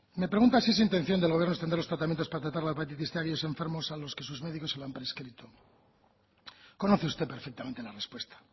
me pregunta si es intención del gobierno extender los tratamientos para tratar la hepatitis cien a aquellos enfermos a los que sus médicos se lo han prescrito conoce usted perfectamente la respuesta